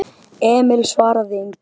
Emil svaraði engu.